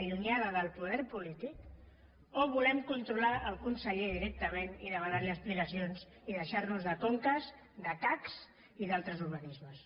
allunyada del po·der polític o volem controlar el conseller directament i demanar·li explicacions i deixar·nos de conca de cac i d’altres organismes